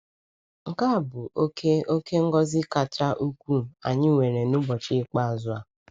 Nke a bụ oke oke ngọzi kacha ukwuu anyị nwere n’ụbọchị ikpeazụ a.